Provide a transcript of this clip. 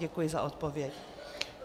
Děkuji za odpověď.